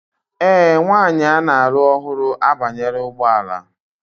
Ee, nwanyị a na-alụ ọhụrụ abanyela ụgbọ ala